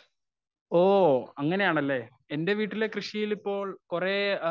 speaker 1 ഓ അങ്ങനെയാണല്ലേ എന്റെ വീട്ടിലെ കൃഷിയിലിപ്പോൾ കുറേ ആ